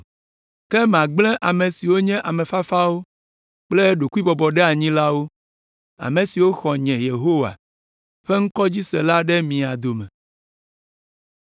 Ke magblẽ ame siwo nye ame fafawo kple ɖokuibɔbɔɖeanyilawo, ame siwo xɔ nye, Yehowa ƒe ŋkɔ dzi se la ɖe mia dome.